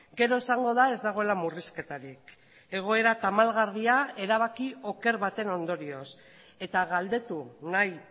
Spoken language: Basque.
gero esango da ez dagoela murrizketarik egoera tamalgarria erabaki oker baten ondorioz eta galdetu nahi